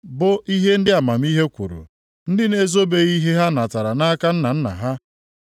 bụ ihe ndị amamihe kwuru, ndị na-ezobeghị ihe ha natara nʼaka nna nna ha,